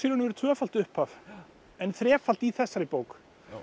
og veru tvöfalt upphaf en þrefalt í þessari bók